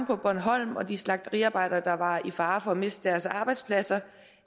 på bornholm og de slagteriarbejdere der var i fare for at miste deres arbejdspladser